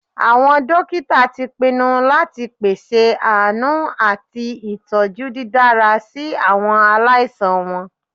Awọn dokita ti pinnu lati pese aanu ati itọju didara si awọn alaisan wọn.